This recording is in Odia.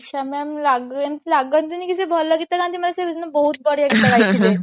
ଇଶା ma'am ଲାଗନ ଲାଗନ୍ତିନୀ କି ସେ ଭଲ ଗୀତ ଗାନ୍ତି ସେ ସେଦିନ ବହୁତ ବଢିଆ ଗୀତ ଗାଇଥିଲେ